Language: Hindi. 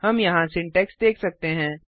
हम यहाँ सिंटैक्स देख सकते हैं